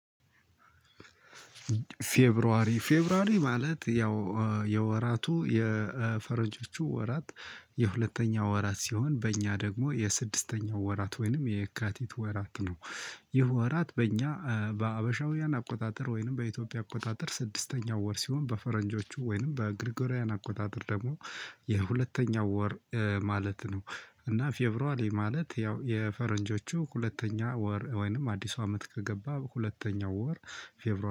ፌብራሪ ፌብራሪ ማለት ያው የወራቱ የፈረንጆቹ ወራት የሁለተኛው ወራት ሲሆን በእኛ ደግሞ የስድስተኛው ወራት ወይንም የየካቲት ወራት ነው። ይህ ወራት በእኛ ሀበሻዊያን አቆጣጠር። ስድስተኛው ወር ሲሆን በፈረንጅቹ ወይም ከጊሩጎሪያል አቆጣጠር ደግሞ የሁለተኛው ወር ማለት ነው። እና ፌቨሩዋሊሪ ማለት ያው የፈረንጆቹ ሁለተኛ ወር ወይንም አዲስ አመት ከገባ ሁለተኛው ወር ፌብሩዋሪ